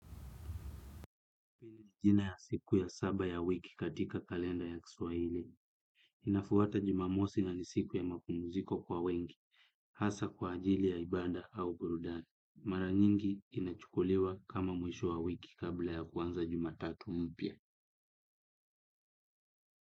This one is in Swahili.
Jina ya siku ya saba ya wiki katika kalenda ya kiswahili. Inafuata jumamosi na ni siku ya mapumziko kwa wengi. Hasa kwa ajili ya ibada au burudani. Mara nyingi inachukuliwa kama mwisho wa wiki kabla ya kuanza jumatatu mpya.